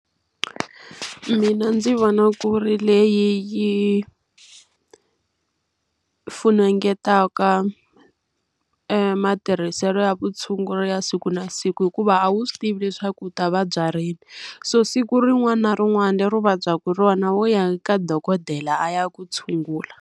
Mina ndzi vona ku ri leyi yi funengeta matirhiselo ya vutshunguri ya siku na siku, hikuva a wu swi tivi leswaku u ta vabya rini. So siku rin'wana na rin'wana leri u vabyaka rona wo ya ka dokodela a ya ku tshungula.